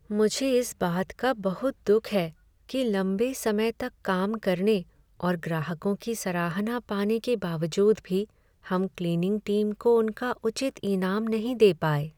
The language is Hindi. मुझे इस बात का बहुत दुख है कि लंबे समय तक काम करने और ग्राहकों की सराहना पाने के बावजूद भी हम क्लीनिंग टीम को उनका उचित इनाम नहीं दे पाए।